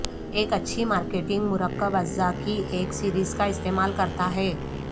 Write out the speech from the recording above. ایک اچھی مارکیٹنگ مرکب اجزاء کی ایک سیریز کا استعمال کرتا ہے